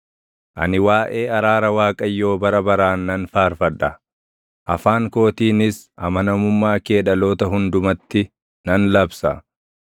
Ani waaʼee araara Waaqayyoo bara baraan nan faarfadha; afaan kootiinis amanamummaa kee dhaloota hundumatti nan labsa.